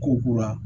Ko kura